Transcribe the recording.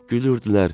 Gülürdülər.